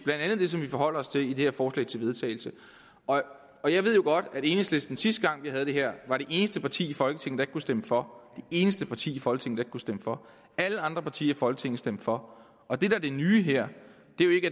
blandt andet det som vi forholder os til i det her forslag til vedtagelse jeg ved jo godt at enhedslisten sidste gang vi havde det her var det eneste parti i folketinget der ikke kunne stemme for det eneste parti i folketinget kunne stemme for alle andre partier i folketinget stemte for og det der er det nye her